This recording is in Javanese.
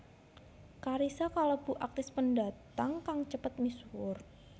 Carissa kalebu aktris pendatang kang cepet misuwur